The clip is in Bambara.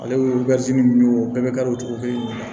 Ale ye nunnu ye o bɛɛ bɛ kari o cogo kelen de la